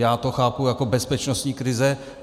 Já to chápu jako bezpečnostní krizi.